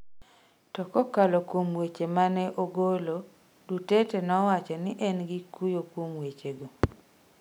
To kokalo kuom wach ma ne ogolo, Duterte nowacho ni en gi kuyo kuom wechego.